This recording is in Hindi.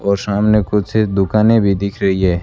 और सामने कुछ दुकानें भी दिख रही है।